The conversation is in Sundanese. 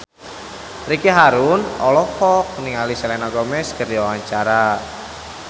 Ricky Harun olohok ningali Selena Gomez keur diwawancara